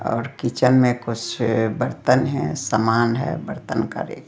और किचन में कुछ बर्तन है सामान है बर्तन करे--